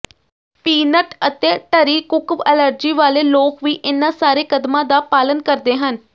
peanut ਅਤੇ tree ਕੁੱਕ allergy ਵਾਲੇ ਲੋਕ ਵੀ ਇਨ੍ਹਾਂ ਸਾਰੇ ਕਦਮਾਂ ਦਾ ਪਾਲਨ ਕਰਦੇ ਹਨ